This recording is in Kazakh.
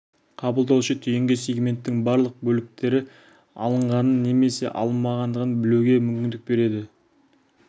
қабылдаушы түйінге сегменттің барлық бөліктері алынғанын немесе алынбағандығын білуге мүмкіндік береді